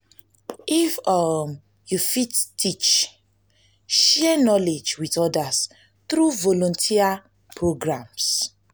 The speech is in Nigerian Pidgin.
if um yu fit teach share um knowledge with odas tru volunteer programs.